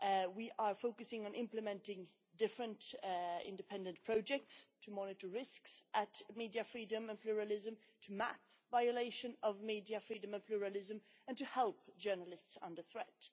We are focusing on implementing different independent projects to monitor risks to media freedom and pluralism, to map violation of media freedom and pluralism, and to help journalists under threat.